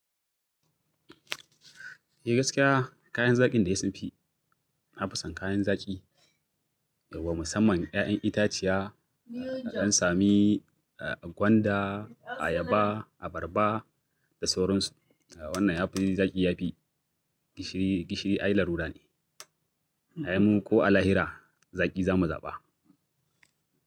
Eh gaskiya kayan zaƙin dai sunfi, nafi son kayan zaƙi, yauwa musamman ƴaƴan itaciya, in dan sami gwanda, ayaba, abarba da sauransu. Wannan yafi zaƙi yafi gishiri, gishiri ai larura ne. Ai mu ko a lahira zaƙi za mu zaɓa.